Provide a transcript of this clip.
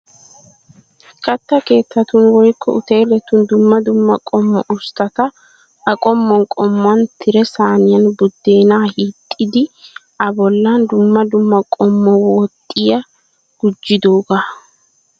Katta keettatun woykko uteletun dumma dumma qommo usttata A qommuwan qommuwan tire saaniyan buddeena hixxidi abolla dumma dumma qommo woxiya gujjidooga